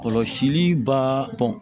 Kɔlɔsili baa